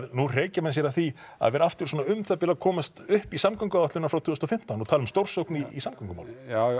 nú hreykja menn sér því að vera aftur svona um það bil að komast upp í samgönguáætlunina frá tvö þúsund og fimmtán og tala um stórsókn í samgöngumálum